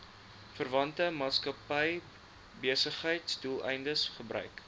verwante maatskappybesigheidsdoeleindes gebruik